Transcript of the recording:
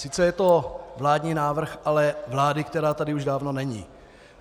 Sice je to vládní návrh, ale vlády, která tady už dávno není.